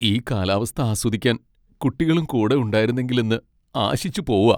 ഈ കാലാവസ്ഥ ആസ്വദിക്കാൻ കുട്ടികളും കൂടെ ഉണ്ടായിരുന്നെങ്കിൽ എന്ന് ആശിച്ചു പോവാ!